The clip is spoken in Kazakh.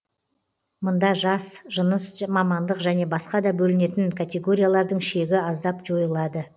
мында жас жыныс мамандық және басқада бөлінетін категориялардың шегі аздап жойылады